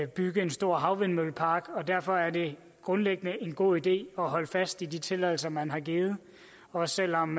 bygge en stor havvindmøllepark og derfor er det grundlæggende en god idé at holde fast i de tilladelser man har givet også selv om